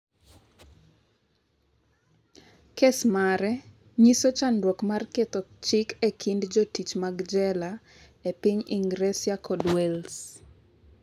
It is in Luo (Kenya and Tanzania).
Kes mare nyiso chandruok mar ketho chik e kind jotich mag jela e piny Ingresa kod Wales.